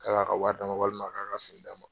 K'a ka wari d'a ma walima a k'a ka d'a ma.